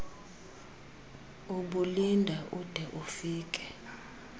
ubulinda ude ufikele